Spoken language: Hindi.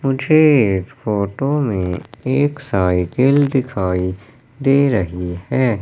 मुझे इस फोटो में एक साइकिल दिखाई दे रही है।